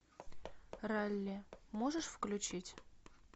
ралли можешь включить